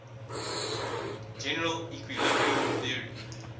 general equilibrium theory